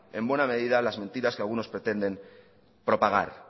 en buena medida las mentiras que algunos pretenden propagar